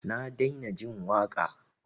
Na daina jin waƙa.